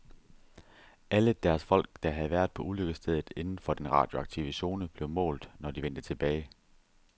Alle deres folk, der havde været på ulykkesstedet inden for den radioaktive zone, blev målt, når de vendte tilbage.